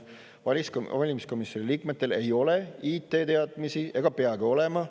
Valimiskomisjoni liikmetel ei ole IT-teadmisi ega peagi olema.